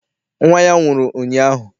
Nnwa ya nwụrụ ụnyaahụ.